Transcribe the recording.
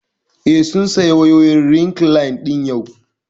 Eh, sun saya wayoyin rekline ɗin yau